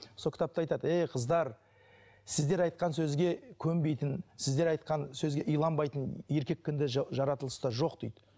сол кітапта айтады ей қыздар сіздер айтқан сөзге көнбейтін сіздер айтқан сөзге иланбайтын еркек кіндік жаратылыста жоқ дейді